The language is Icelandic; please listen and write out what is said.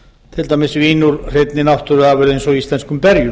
til dæmis vín úr hreinni náttúruafurð eins og íslenskum berjum